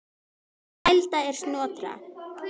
Snælda er Snotra